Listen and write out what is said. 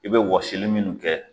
I be wɔsili munnu kɛ